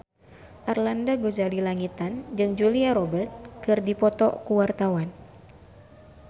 Arlanda Ghazali Langitan jeung Julia Robert keur dipoto ku wartawan